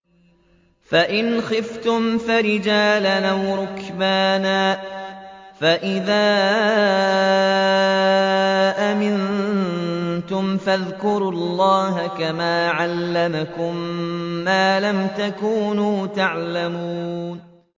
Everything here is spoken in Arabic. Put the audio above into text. فَإِنْ خِفْتُمْ فَرِجَالًا أَوْ رُكْبَانًا ۖ فَإِذَا أَمِنتُمْ فَاذْكُرُوا اللَّهَ كَمَا عَلَّمَكُم مَّا لَمْ تَكُونُوا تَعْلَمُونَ